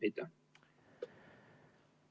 Aitäh!